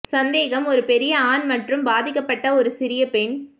சந்தேக ஒரு பெரிய ஆண் மற்றும் பாதிக்கப்பட்ட ஒரு சிறிய பெண்